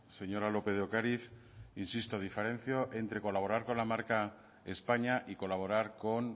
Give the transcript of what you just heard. señora lópez de ocariz insisto diferencia entre colaborar con la marca españa y colaborar con